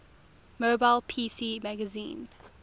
mobile pc magazine